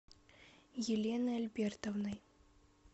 еленой альбертовной